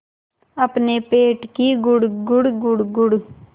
अपने पेट की गुड़गुड़ गुड़गुड़